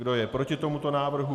Kdo je proti tomuto návrhu?